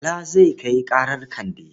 Bala zai kai ƙarar Kande.